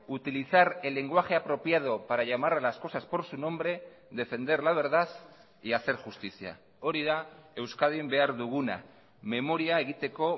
utilizar el lenguaje apropiado para llamar a las cosas por su nombre defender la verdad y hacer justicia hori da euskadin behar duguna memoria egiteko